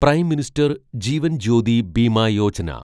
prime minister Jeevan Jyoti Bima Yojana